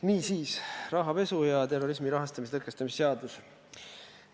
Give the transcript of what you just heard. Niisiis, rahapesu ja terrorismi rahastamise tõkestamise seadus.